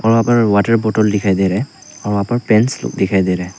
वहां पर वाटर बोतल दिखाई दे रहे हैं और वहां पर पैन्स भी दिखाई दे रहे हैं।